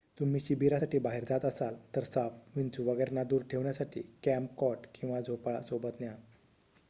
तुम्ही शिबिरासाठी बाहेर जात असाल तर साप विंचू वगैरेंना दूर ठेवण्यासाठी कॅम्प कॉट किंवा झोपाळा सोबत घ्या